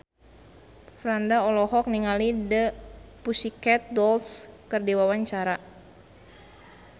Franda olohok ningali The Pussycat Dolls keur diwawancara